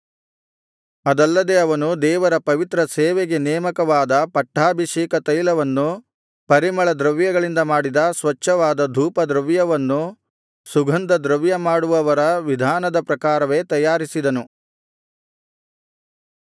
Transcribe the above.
ಅದಲ್ಲದೆ ಅವನು ದೇವರ ಪವಿತ್ರ ಸೇವೆಗೆ ನೇಮಕವಾದ ಪಟ್ಟಾಭಿಷೇಕತೈಲವನ್ನೂ ಪರಿಮಳದ್ರವ್ಯಗಳಿಂದ ಮಾಡಿದ ಸ್ವಚ್ಛವಾದ ಧೂಪದ್ರವ್ಯವನ್ನೂ ಸುಗಂಧದ್ರವ್ಯಮಾಡುವವರ ವಿಧಾನದ ಪ್ರಕಾರವೇ ತಯಾರಿಸಿದನು